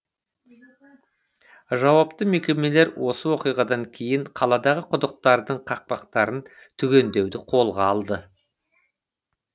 жауапты мекемелер осы оқиғадан кейін қаладағы құдықтардың қақпақтарын түгендеуді қолға алды